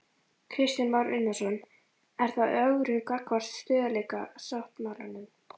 Kristján Már Unnarsson: Er það ögrun gagnvart stöðugleikasáttmálanum?